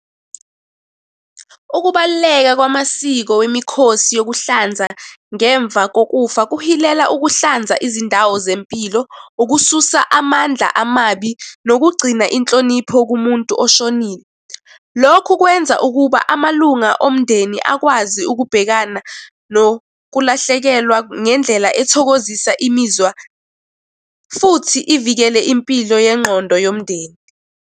Ukubaluleka kwamasiko wemikhosi yokuhlanza ngemva kokufa kuhilela ukuhlanza izindawo zempilo, ukususa amandla amabi, nokugcina inhlonipho kumuntu oshonile. Lokhu kwenza ukuba amalunga omndeni akwazi ukubhekana nokulahlekelwa ngendlela ethokozisa imizwa, futhi ivikele impilo yengqondo yomndeni.